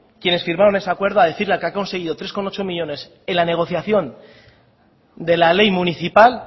quienes firmaron ese acuerdo a decir que han conseguido tres coma ocho millónes en la negociación de la ley municipal